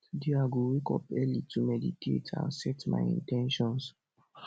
today i go wake up early to meditate and set my in ten tions